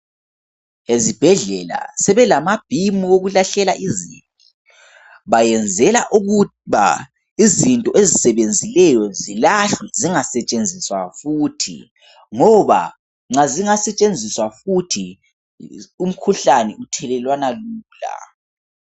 Ezibhedlela sebe lama bhimu okulahlela izibi bayenzela ukuba izinto ezisebenzileyo zilahlwe zinga setshenziswa futhi ngoba nxa zinga setshenziswa futhi umkhuhlane uthelelwana lula.